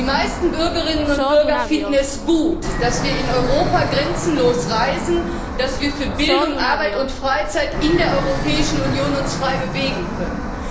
Die meisten Bürgerinnen und Bürger finden es gut, dass wir in Europa grenzenlos reisen, dass wir uns für Bildung, Arbeit und Freizeit in der Europäischen Union frei bewegen können.